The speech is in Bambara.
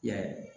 I y'a ye